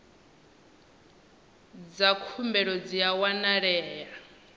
dza khumbelo dzi a wanalea